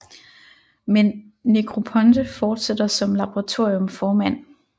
Men Negroponte fortsætter som laboratorium formand